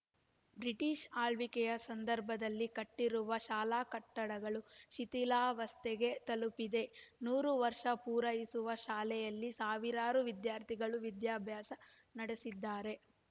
British ಆಳ್ವಿಕೆ ಸಂದರ್ಭದಲ್ಲಿ ಕಟ್ಟಿರುವ ಶಾಲಾ ಕಟ್ಟಡ ಶಿಥಿಲಾವಸ್ಥೆಗೆ ತಲುಪಿದೆ ನೂರು ವರ್ಷ ಪೂರೈಸಿರುವ ಶಾಲೆಯಲ್ಲಿ ಸಾವಿರಾರು ವಿದ್ಯಾರ್ಥಿಗಳು ವಿದ್ಯಾಭ್ಯಾಸ ನಡೆಸಿದ್ದಾರೆ